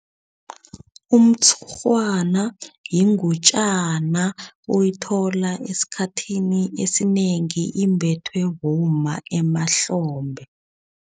Umtshurhwana yingutjana uyithola esikhathini esinengi imbathwe bomma emahlombe.